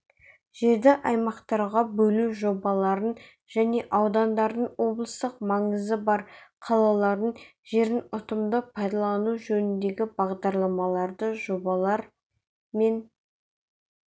жерді аймақтарға бөлу жобаларын және аудандардың облыстық маңызы бар қалалардың жерін ұтымды пайдалану жөніндегі бағдарламаларды жобалар мен